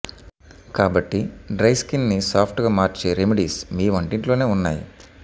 కాబట్టి dry skin ని soft గా మార్చే రెమిడీస్ మీ వంటింట్లోనే ఉన్నాయి